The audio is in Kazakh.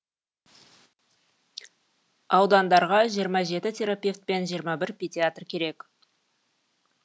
аудандарға жиырма жеті терапевт пен жиырма бір педиатр керек